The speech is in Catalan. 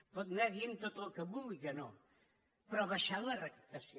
pot anar dient tot el que vulgui que no però ha baixat la recaptació